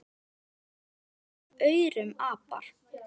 Mörg verða af aurum apar.